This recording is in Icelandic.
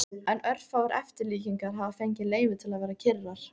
En örfáar eftirlíkingar hafa fengið leyfi til að vera kyrrar.